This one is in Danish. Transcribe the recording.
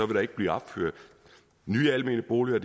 der ikke blive opført nye almene boliger